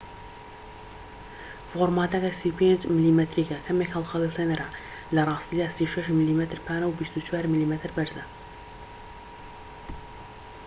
فۆرماتە 35 میلیمەتریەکە کەمێک هەڵخەڵەتێنەرە لە ڕاستیدا 36 میلیمەتر پانە و 24 میلیمەتر بەرزە